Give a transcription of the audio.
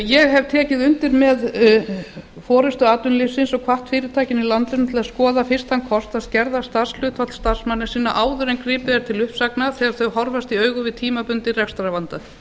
ég hef tekið undir með forustu atvinnulífsins og hvatt fyrirtækin í landinu til að skoða fyrst þann kost að skerða starfshlutfall starfsmanna sinna áður en gripið er til uppsagna þegar þau horfast í augu við tímabundinn rekstrarvanda